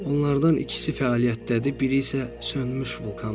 Onlardan ikisi fəaliyyətdədir, biri isə sönmüş vulkandır.